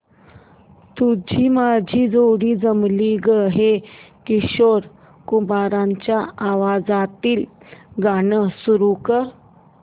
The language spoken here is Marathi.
तुझी माझी जोडी जमली गं हे किशोर कुमारांच्या आवाजातील गाणं सुरू कर